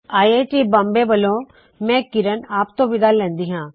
I I T Bombay ਵੱਲੋ ਮੈ ਕਿਰਣ ਆਪ ਤੋ ਵਿਦਾ ਲੈੱਨੀ ਹਾ